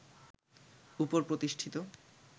উপর প্রতিষ্ঠিত